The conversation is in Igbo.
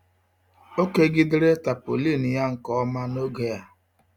O kegidere tapaulin ya nke ọma n'oge a.